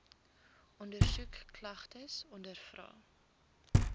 ondersoek klagtes ondervra